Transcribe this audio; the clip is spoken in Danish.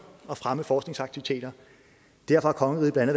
at fremme forskningsaktiviteter derfor har kongeriget blandt